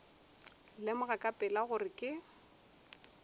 lemoga ka pela gore ke